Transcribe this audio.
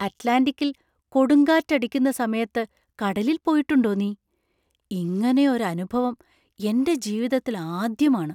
അറ്റ്ലാന്‍റിക്കിൽ കൊടുങ്കാറ്റക്കടിക്കുന്ന സമയത്ത് കടലിൽ പോയിട്ടുണ്ടോ നീ? ഇങ്ങനെ ഒരു അനുഭവം എൻ്റെ ജീവിതത്തിൽ ആദ്യമാണ്.